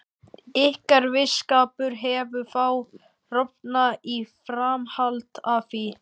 Ykkar vinskapur hefur þá rofnað í framhaldi af því?